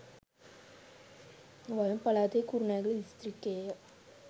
වයඹ පළාතේ කුරුණෑගල දිස්ත්‍රික්කයේ ය.